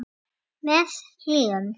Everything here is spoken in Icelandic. Með hléum.